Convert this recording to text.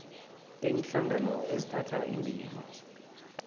iinhlangano ezithatha indima